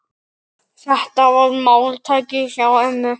Þetta var máltæki hjá ömmu.